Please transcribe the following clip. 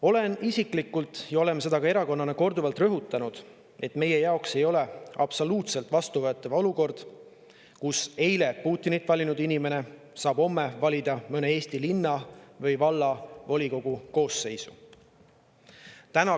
Olen isiklikult – oleme seda ka erakonnana korduvalt rõhutanud –, et meie jaoks ei ole absoluutselt vastuvõetav olukord, kus eile Putinit valinud inimene saab homme valida mõne Eesti linna või valla volikogu koosseisu.